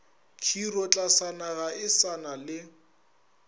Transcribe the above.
khirotlasana ga e sa le